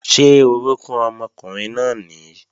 Ṣé orókún ọmọkùnrin náà nìí?